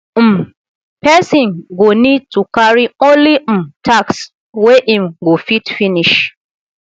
um person go need to carry only um tasks wey im go fit finish